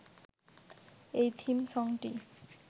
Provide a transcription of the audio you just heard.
এই থিম সংটি